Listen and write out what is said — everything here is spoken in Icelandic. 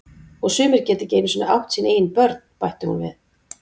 Og sumir geta ekki einu sinni átt sín eigin börn, bætti hún við.